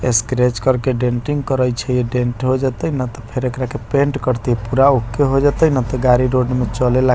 स्क्रैच करके डेंटिंग करए छै डेंट हो जतए ने ते फेर एकरा के पेंट करतये पूरा ओके हो जतए ने ते गाड़ी रोड में चलेला।